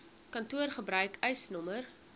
kantoor gebruik eisnr